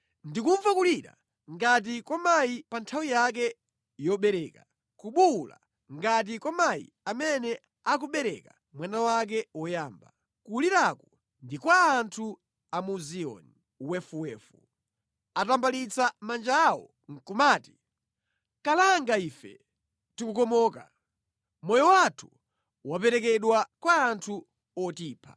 Ndikumva kulira ngati kwa mayi pa nthawi yake yobereka, kubuwula ngati kwa mayi amene akubereka mwana wake woyamba. Kuliraku ndi kwa anthu a mu Ziyoni, wefuwefu. Atambalitsa manja awo nʼkumati, “Kalanga ife! Tikukomoka. Moyo wathu waperekedwa kwa anthu otipha.”